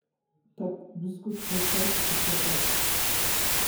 Tag buskut halkaas u soo qaad.